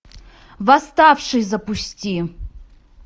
восставший запусти